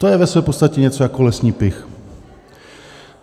To je ve své podstatě něco jako lesní pych.